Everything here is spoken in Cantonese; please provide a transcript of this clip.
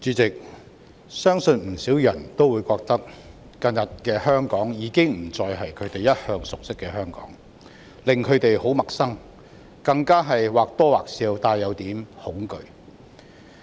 主席，相信不少人會覺得，近日的香港已經不再是他們一向熟悉的香港，不僅令他們感到很陌生，更或多或少帶點恐懼。